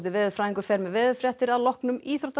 veðurfræðingur fer með veðurfréttir að loknum íþróttum